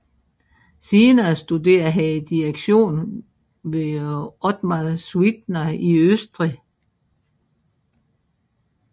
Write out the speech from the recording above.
Senere studerede han direktion hos Otmar Suitner i Østrig